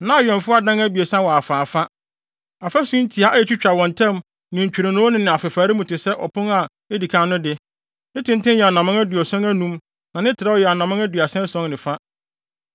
Na awɛmfo adan a abiɛsa wɔ afaafa, afasu ntiaa a etwitwa wɔn ntam ne ntwironoo no afefare mu te sɛ ɔpon a edi kan no de. Ne tenten yɛ anammɔn aduɔson anum na ne trɛw yɛ anammɔn aduasa ason ne fa.